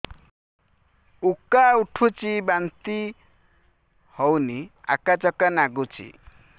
ଉକା ଉଠୁଚି ବାନ୍ତି ହଉନି ଆକାଚାକା ନାଗୁଚି